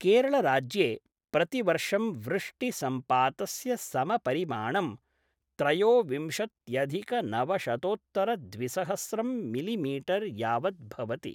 केरळराज्ये प्रतिवर्षं वृष्टिसंपातस्य समपरिमाणं त्रयोविंशत्यधिकनवशतोत्तरद्विसहस्रं मिलिमीटर् यावत् भवति।